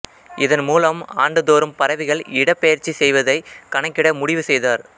இதன் மூலம் ஆண்டுதோறும் பறவைகள் இடப்பெயற்சி செய்வதை கணக்கிட முடிவுசெய்தார்